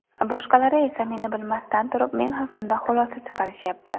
Boshqalari esa meni bilmasdan turib men haqimda xulosa chiqarishyapti.